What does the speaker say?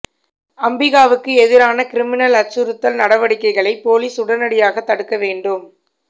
அம்பிகாவுக்கு எதிரான கிரிமினல் அச்சுறுத்தல் நடவடிக்கைகளை போலீஸ் உடனடியாகத் தடுக்க வேண்டும்